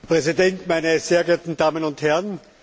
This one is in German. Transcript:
Herr Präsident, meine sehr geehrten Damen und Herren!